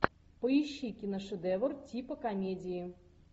поищи киношедевр типа комедии